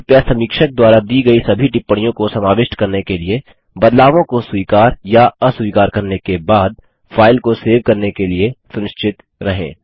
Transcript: कृपया समीक्षक द्वारा दी गई सभी टिप्पणियों को समाविष्ट करने के लिए बदलावों को स्वीकार या अस्वीकार करने के बाद फाइल को सेव करने के लिए सुनिश्चित रहें